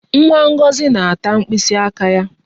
Nwa Ngozi na-ata mkpịsị aka ya